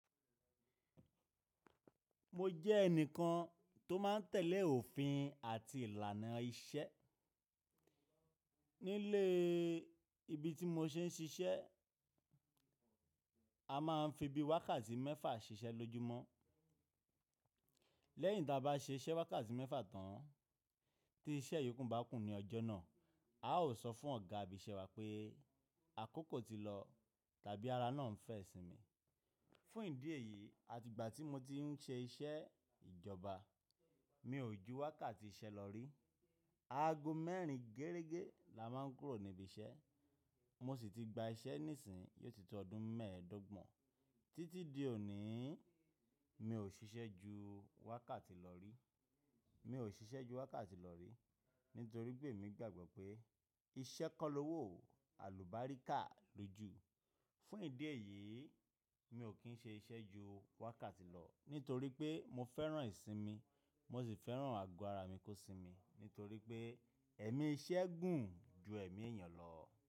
Mo jẹ́ ẹnìkan tó máa ń tẹ̀lé òfin àti ìlànà iṣẹ́. Nílé ibi tí mo tin ṣiṣẹ́, a máa ń fi bí wákàtí mẹ́fà ṣiṣẹ́ lójúmọ́. Lẹ́yìn tí a bá ṣiṣẹ́ wákàtí mẹ́fà tán tí iṣẹ́ yòókù bá kù ní ọjọ́ náà, a ó sọ fún ọ̀gá ibi iṣẹ́ wa pé àkókò ti lọ tàbí ara náà ń fẹ́ ìsinmi. Fún ìdí èyí, àti ìgbà tí mo ti ń ṣe iṣẹ́ ìjọba, mi ò ju wákàtí iṣẹ́ lọ rí. Ago mẹ́rin gérégé la máa ń kúrò níbí iṣẹ́. Mo sì ti gba iṣẹ́ nísìnyí yó ti tó ọdún mẹ́ẹ̀ẹ́dọ́gbọ̀n. Títí di òní, mi ò ṣiṣẹ́ ju wákàtí lọ rí. Mi ò ṣiṣẹ́ ju wákàtí lọ rí nítorí pé emi gbàgbọ́ pé iṣẹ́ kọ́ lowò àlùbáríkà lójú. Fún ìdí èyí, mi ò kí ń ṣe iṣẹ́ ju wákàtí lọ nítorí pé mo fẹ́ràn ìsinmi, mo sì fẹ́ràn ago ara mi kó sinmi nítorí pé ẹ̀mí iṣẹ́ gùn ju ẹ̀mí èèyàn lọ.